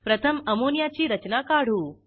प्रथम अमोनियाची रचना काढू